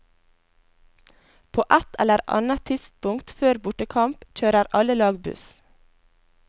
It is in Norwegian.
På et eller annet tidspunkt før bortekamp, kjører alle lag buss.